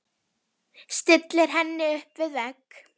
Stillir henni upp við vegg.